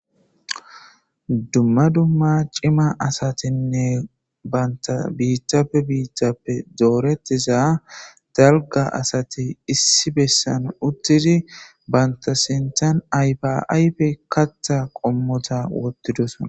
Dumma dumma cima asatinne banta biittape biittappe doorettiza dalga asati issi bessan uttidi banta sintan aypaaype kattha qommota wottidosona.